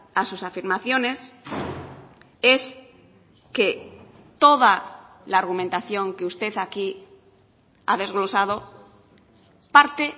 a sus afirmaciones es que toda la argumentación que usted aquí ha desglosado parte